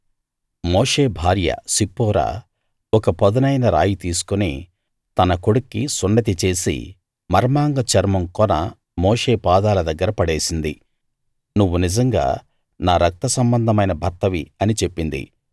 మోషే భార్య సిప్పోరా ఒక పదునైన రాయి తీసుకుని తన కొడుక్కి సున్నతి చేసి మర్మాంగ చర్మం కొన మోషే పాదాల దగ్గర పడేసింది నువ్వు నిజంగా నా రక్తసంబంధమైన భర్తవి అని చెప్పింది